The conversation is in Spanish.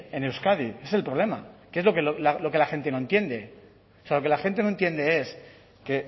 en euskadi ese es el problema que es lo que la gente no entiende o sea lo que la gente no entiende es que